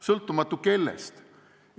Sõltumatu kellest?